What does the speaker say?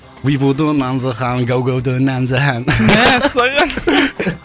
вибуду нанзы хан гаугауді нәнзі хан мәссаған